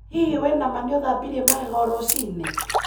Hihi wina ma nĩ uthambirie magego rũcinĩ?